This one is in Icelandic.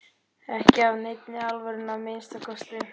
Ekki af neinni alvöru að minnsta kosti.